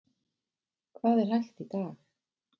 Hvað er hægt í dag?